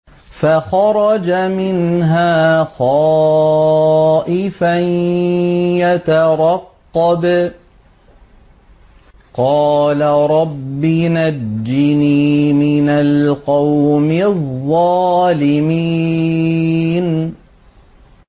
فَخَرَجَ مِنْهَا خَائِفًا يَتَرَقَّبُ ۖ قَالَ رَبِّ نَجِّنِي مِنَ الْقَوْمِ الظَّالِمِينَ